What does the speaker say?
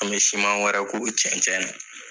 An be siman wɛrɛ k'o cɛncɛn na.